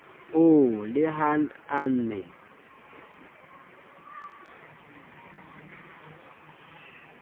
oo le ha a ne